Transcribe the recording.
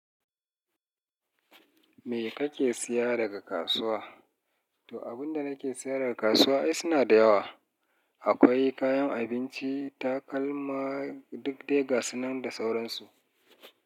Me kake siya daga kasuwa? To, abunda nake sayar a kasuwa ai suna da yawa. Akwai kayan abinci, takalma duk de ga sunan da sauransu.